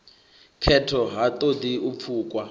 khetho ha ṱoḓi u pfukwa